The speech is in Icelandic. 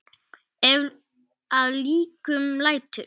Ef að líkum lætur.